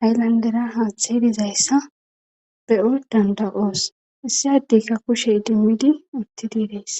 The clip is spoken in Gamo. haylandera haatha hibizayssa be7o danda7oos issiaddeykka kushe idimmidi uttidi dees